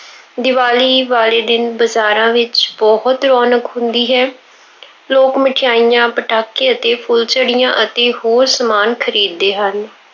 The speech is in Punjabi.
ਦੀਵਾਲੀ ਵਾਲੇ ਦਿਨ ਬਜ਼ਾਰਾਂ ਵਿੱਚ ਬਹੁਤ ਰੌਣਕ ਹੁੰਦੀ ਹੈ। ਲੋਕ ਮਠਿਆਈਆਂ, ਪਟਾਕੇ ਅਤੇ ਫੁੱਲਝੜੀਆਂ ਅਤੇ ਹੋਰ ਸਮਾਨ ਖਰੀਦਦੇ ਹਨ।